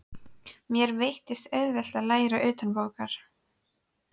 Mér veittist auðvelt að læra utanbókar.